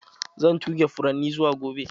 Zan tuge furanni zuwa gobe.